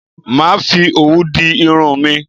Màá fi òwú di irun mi